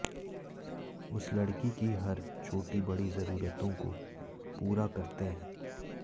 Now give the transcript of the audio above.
उस लड़की की हर छोटी बड़ी जरूरतों को पूरा करते हैं